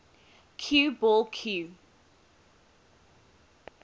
cue ball cue